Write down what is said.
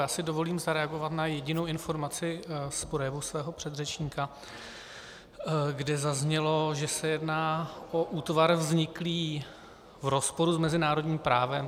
Já si dovolím zareagovat na jedinou informaci z projevu svého předřečníka, kde zaznělo, že se jedná o útvar vzniklý v rozporu s mezinárodním právem.